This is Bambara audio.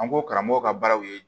An ko karamɔgɔw ka baaraw ye